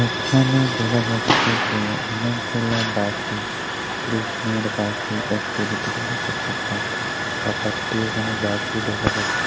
এখানে দেখা যাচ্ছে যে অনেকগুলা বাঁশি কৃষ্ণের বাঁশি একটি দুটি তিনটি চারটি পাঁচটি ছয় সাত আটটি বাঁশি দেখা যাচ্ছে।